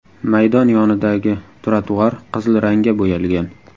Maydon yonidagi trotuar qizil rangga bo‘yalgan.